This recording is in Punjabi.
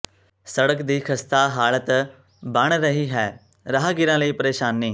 ਸੜਕ ਦੀ ਖਸਤਾ ਹਾਲਤ ਬਣ ਰਹੀ ਹੈ ਰਾਹਗੀਰਾਂ ਲਈ ਪਰੇਸ਼ਾਨੀ